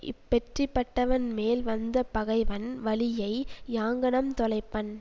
இப்பெற்றிப்பட்டவன் மேல் வந்த பகைவன் வலியை யாங்ஙனம் தொலைப்பன்